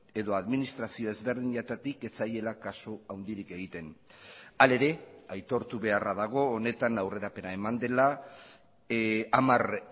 edo administrazio ezberdinetatik ez zaiela kasu handirik egiten hala ere aitortu beharra dago honetan aurrerapena eman dela hamar